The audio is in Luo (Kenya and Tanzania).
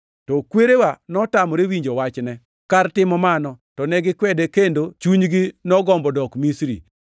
“To kwerewa notamore winjo wachne. Kar timo mano, to ne gikwede kendo chunygi nogombo dok Misri.